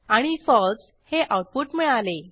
आणि फळसे हे आऊटपुट मिळाले